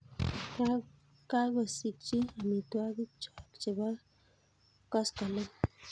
kakosikchi amitwokikchoo chebo koskoleny